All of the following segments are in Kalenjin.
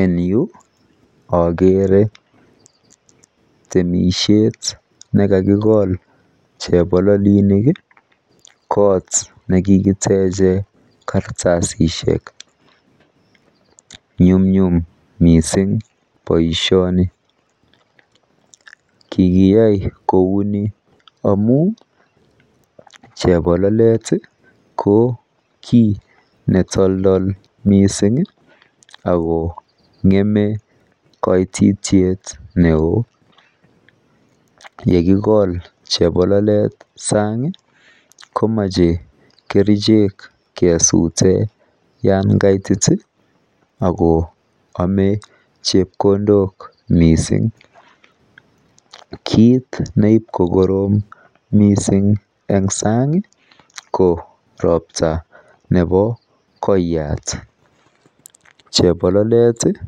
en yu ogere temisyeet negakigool chebololinik iih kot negekitechen kartasisiek, nyumnyum mising boishoni, kigiyai kouu nii amuun chebololet iih ko kiit netoldol mising ak kongeme koitityeet neoo, yekigool chebololeet saang iih komoche kerichek kesuten yaan kaitit iih ago enchepkondook mising, kiit neit kogoroom mising en saang iih k ropta nebo koyaat, chebololet iih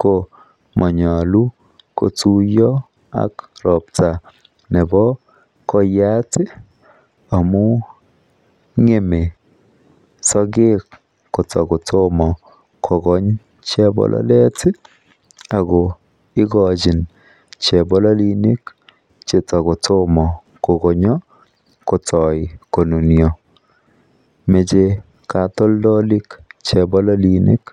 ko monyolu kotuyo ak ropta nebo koyaat iih amuun ngeme sogeek kotagotomo kogoonk chepololeet iih ago igochin chepololinik chetagotomo kogonyo kotoo konunyo, moche katoldolik chepololinik.